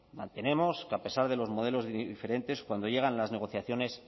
mantenemos que a pesar de los modelos diferentes cuando llegan las negociaciones